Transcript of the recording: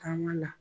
Taa n ka na